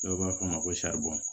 Dɔw b'a fɔ ma ko